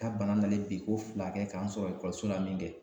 Ka bana lale biko fila kɛ ka n sɔrɔ ekɔliso la min kɛ